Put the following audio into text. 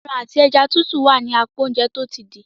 Aràn àti ẹja titu wá ní apá Oúnjẹ tó ti dì.